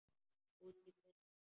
Útí busk.